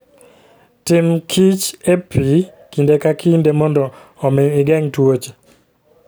Timkichr e pi kinde ka kinde mondo omi igeng' tuoche.